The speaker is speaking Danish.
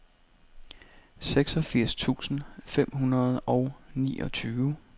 seksogfirs tusind fem hundrede og niogtyve